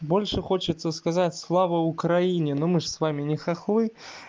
больше хочется сказать слава украине но мы же с вами не хохлы